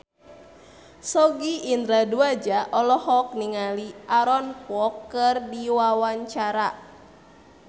Sogi Indra Duaja olohok ningali Aaron Kwok keur diwawancara